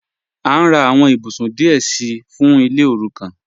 A n rà àwọn ìbùsún díẹ̀ sí fún ilẹ̀ òrúkàn.